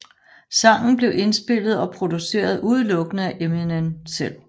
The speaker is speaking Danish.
Sangen blev indspillet og produceret udelukkende af Eminem selv